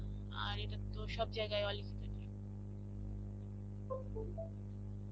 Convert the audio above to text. আর এটার তো সব জায়গায়